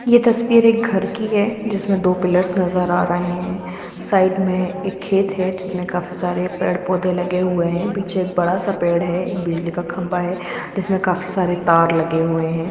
यह तस्वीर एक घर की है जिसमें दो पिलर्स नजर आ रहे है साइड में एक खेत है जिसमें काफी सारे पेड़-पौधे लगे हुए है पीछे एक बड़ा सा पेड़ है एक बिजली का खंबा है जीसमें काफी सारे तार लगे हुए हैं।